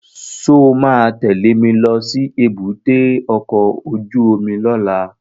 Sọ ma tẹ́lẹ̀ mi lọ sí èbúté ọkọ̀ óju omi lọ́la?